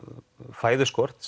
fæðuskort